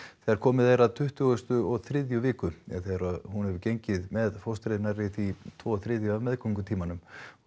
þegar komið er að tuttugustu og þriðju viku eða þegar hún hefur gengið með fóstrið nærri því tvo þriðju af meðgöngutímanum